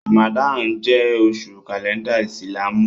Ràmàdánù jẹ́ oṣù kàlẹ́ndà ìsìlámù